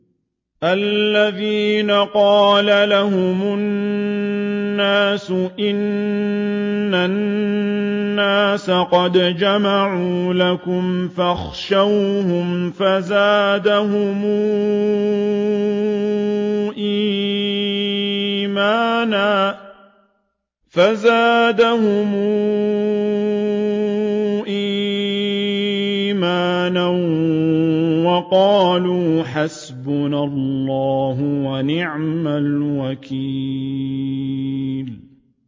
الَّذِينَ قَالَ لَهُمُ النَّاسُ إِنَّ النَّاسَ قَدْ جَمَعُوا لَكُمْ فَاخْشَوْهُمْ فَزَادَهُمْ إِيمَانًا وَقَالُوا حَسْبُنَا اللَّهُ وَنِعْمَ الْوَكِيلُ